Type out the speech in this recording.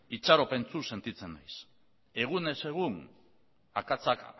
itxaropentsu sentitzen naiz egunez egun akatsak